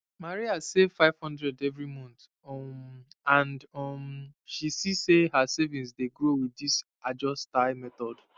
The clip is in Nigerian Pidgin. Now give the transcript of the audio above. maria save 500 every month um and um she see say her savings dey grow with this ajo style method